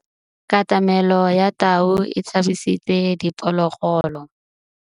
Katamêlô ya tau e tshabisitse diphôlôgôlô.